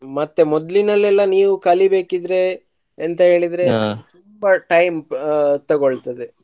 ಮತ್ತೆ ಮೊದ್ಲಿನಲ್ಲೆಲ್ಲ ನೀವು ಕಲಿಬೇಕಿದ್ರೆ ಎಂತ ಹೇಳಿದ್ರೆ ತುಂಬಾ time ತೊಗೊಳ್ತದೆ.